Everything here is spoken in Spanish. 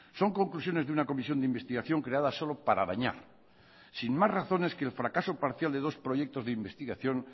son conclusiones de una comisión de investigación creada solo para dañar sin más razones que el fracaso parcial de dos proyectos de investigación